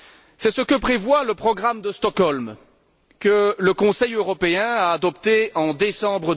C'est ce que prévoit le programme de Stockholm, que le Conseil européen a adopté en décembre